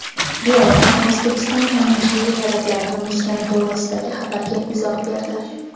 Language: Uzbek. Beeline O‘zbekiston qonunchiligi talablarini buzgani to‘g‘risidagi xabarga izoh berdi.